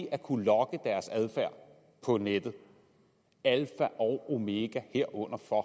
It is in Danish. at kunne logge deres adfærd på nettet alfa og omega herunder for